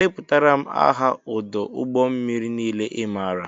Deputara m aha odo ụgbọ mmiri niile i maara!!!